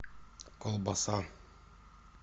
колбаса